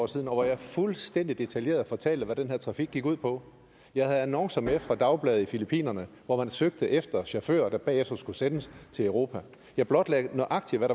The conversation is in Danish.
siden hvor jeg fuldstændig detaljeret fortalte hvad den her trafik gik ud på jeg havde annoncer med fra dagblade i filippinerne hvor man søgte efter chauffører der bagefter skulle sendes til europa jeg blotlagde nøjagtig hvad